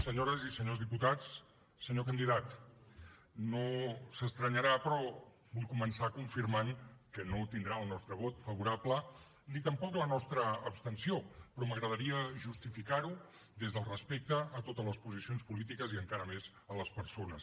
senyores i senyors diputats senyor candidat no s’estranyarà però vull començar confirmant que no tindrà el nostre vot favorable ni tampoc la nostra abstenció però m’agradaria justificar ho des del respecte a totes les posicions polítiques i encara més a les persones